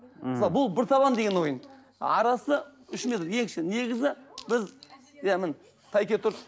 ммм бұл бір табан деген ойын арасы үш метр ең кіші негізі біз иә міне тәйке тұр